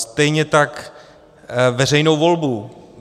Stejně tak veřejnou volbu.